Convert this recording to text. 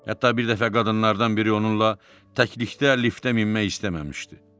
Hətta bir dəfə qadınlardan biri onunla təklikdə liftə minmək istəməmişdi.